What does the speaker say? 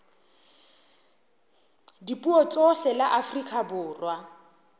dipuo tsohle la afrika borwa